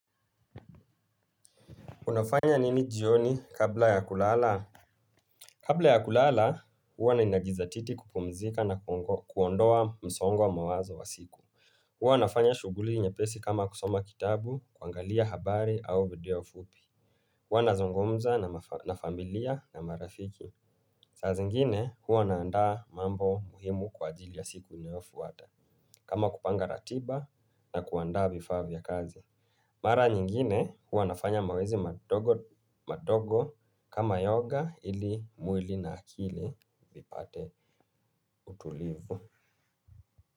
Unafanya nini jioni kabla ya kulala? Kabla ya kulala, huwa ninajizatiti kupumzika na kuondoa msongo wa mawazo wa siku. Huwa nafanya shughuli nyepesi kama kusoma kitabu, kuangalia habari au video fupi. Huwa nazungumza na familia na marafiki. Saa zingine, huwa naandaa mambo muhimu kwa ajili ya siku inayofuata. Kama kupanga ratiba na kuandaa vifaa vya kazi. Mara nyingine huwanafanya mazoezi madogo. Kama yoga, ili mwili na akili vipate utulivu.